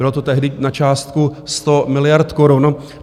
Bylo to tehdy na částku 100 miliard korun.